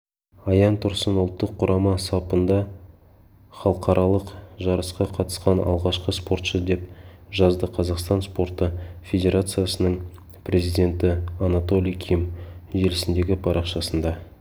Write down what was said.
аян тұрсын ұлттық құрама сапында халықаралық жарысқа қатысқан алғашқы спортшы деп жазды қазақстан спорты федерациясының президенті анатолий ким желісіндегі парақшасында